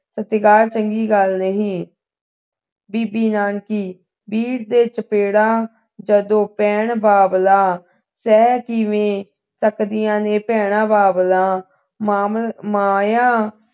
ਸਤਿਕਾਰ ਚੰਗੀ ਗੱਲ ਨਹੀਂ ਬੀਬੀ ਨਾਨਕੀ ਵੀਰ ਦੇ ਚਪੇੜਾ ਜਦੋਂ ਭੈਣ ਬਾਬਲਾ ਸ਼ਹਿਰ ਕਿਵੇਂ ਰੱਖਦੀਆਂ ਨੇ ਭੈਣ ਬਾਬਲਾ ਮਾਮਮਾਇਆ